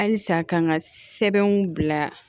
Halisa k'an ka sɛbɛnw bila